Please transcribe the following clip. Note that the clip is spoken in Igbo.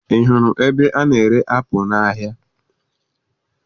Ị hụrụ ebe a na-ere apụ n'ahịa?